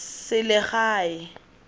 selegae